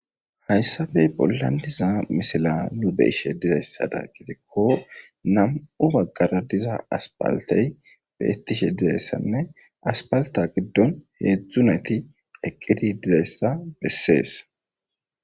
hayssafe bollandiza misila nu be ishe dizayssada gidikko nam7u baggara diza aspaltey beetishe dizayssanne aspalta giddon heedzdzuneti eqqidi dizayssa bessees